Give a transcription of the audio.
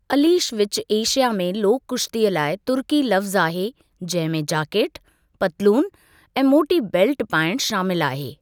अलीश विच एशिया में लोक कुश्तीअ लाइ तुर्की लफ़्ज़ु आहे जंहिं में जाकेट, पतलून ऐं मोटी बेल्टु पाइणु शामिल आहे।